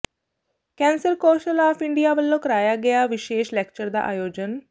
cancer council of India ਵੱਲੋਂ ਕਰਾਇਆ ਗਿਆ ਵਿਸ਼ੇਸ਼ ਲੈਕਚਰ ਦਾ ਆਯੋਜਨ